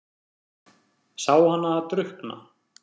Sé hana drukkna.